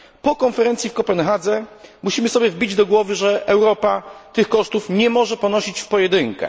Po konferencji w Kopenhadze musimy sobie wbić do głowy, że Europa tych kosztów nie może ponosić w pojedynkę.